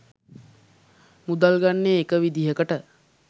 මුදල් ගන්නේ එක විදිහකට.